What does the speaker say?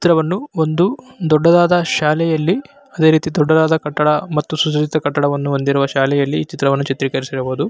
ಚಿತ್ರವನ್ನು ಒಂದು ದೊಡ್ಡದಾದ ಶಾಲೆಯಲ್ಲಿ ಅದೆ ರೀತಿ ದೊಡ್ಡದಾದ ಕಟ್ಟಡ ಮತ್ತು ಸುಜದಿತ ಕಟ್ಟಡವನ್ನು ಹೊಂದಿರುವ ಶಾಲೆಯಲ್ಲಿ ಈ ಚಿತ್ರವನ್ನು ಚಿತ್ರೀಕರಿಸಿರಬಹುದು.